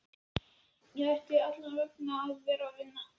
Hann ætti allavega að vera að vinna.